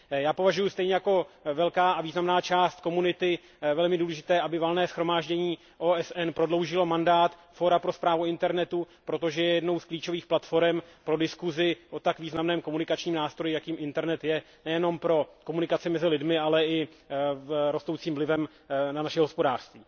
Já považuji stejně jako velká a významná část komunity za velmi důležité, aby Valné shromáždění OSN prodloužilo mandát Fóra pro správu internetu, protože je jednou z klíčových platforem pro diskusi o tak významném komunikačním nástroji, jakým internet je, nejenom pro komunikaci mezi lidmi, ale i z hlediska rostoucího vlivu na naše hospodářství.